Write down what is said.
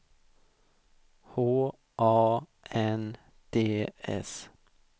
H A N D S